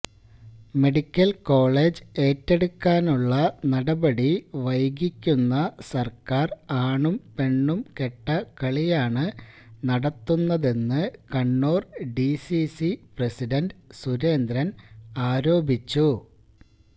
medical college ഏറ്റെടുക്കാനുള്ള നടപടി വൈകിക്കുന്ന സർക്കാർ ആണും പെണ്ണുംകെട്ട കളിയാണ് നടത്തുന്നതെന്ന് കണ്ണൂർ ഡിസിസി പ്രസിഡന്റ് സുരേന്ദ്രൻ ആരോപിച്ചു